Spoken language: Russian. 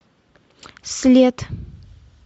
след